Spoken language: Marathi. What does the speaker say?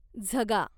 झगा